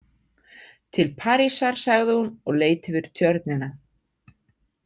Til Parísar, sagði hún og leit yfir Tjörnina.